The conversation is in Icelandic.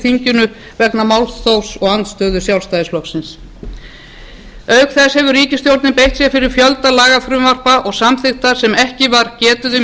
þinginu vegna málþófs og andstöðu sjálfstæðisflokksins auk þess hefur ríkisstjórnin beitt sér fyrir fjölda lagafrumvarpa og samþykkta sem ekki var getið um